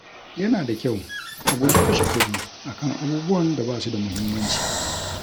Yana da kyau a guji kashe kuɗi a kan abubuwan da ba su da muhimmanci.